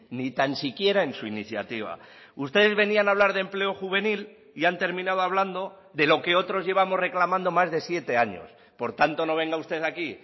ni tan siquiera en su iniciativa ustedes venían a hablar de empleo juvenil y han terminado hablando de lo que otros llevamos reclamando más de siete años por tanto no venga usted aquí